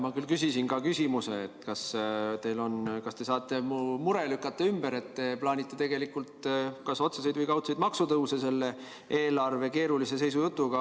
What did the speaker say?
Ma küll küsisin ka küsimuse, kas te saate lükata ümber mu mure, et te plaanite tegelikult kas otseseid või kaudseid maksutõuse selle eelarve keerulise seisu jutuga.